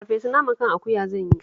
Farfesun naman kan akuya zan yi